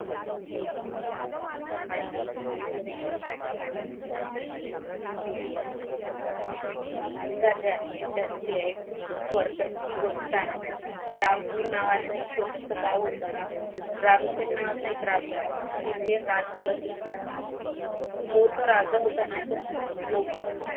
खूप गरजेची गोष्ट आहे रामपुरा नावाचे एक छोटसं गाव होतं रामसिंग नावाचा एक राजवाडा येथे राज्य करत होते तो जर राजा होता ना तो खूप लोभी होता.